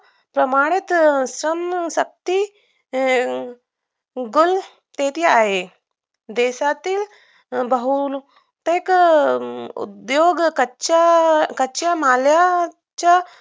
प्रमाणात संशक्ती गुल शेती आहे देशातील बहुतेक अं उद्योग कच्च कच्च्या मालाच्या